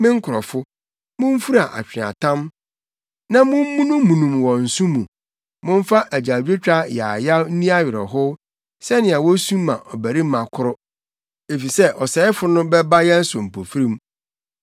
Me nkurɔfo, mumfura atweaatam na mommunummunum wɔ nsõ mu, momfa adwadwotwa yaayaw nni awerɛhow sɛnea wosu ma ɔbabarima koro, efisɛ ɔsɛefo no bɛba yɛn so mpofirim.